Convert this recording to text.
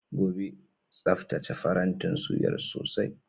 Gobe, tsaftace farantin suyar sosai.